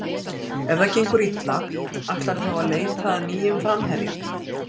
Ef það gengur illa, ætlarðu þá að leita að nýjum framherja?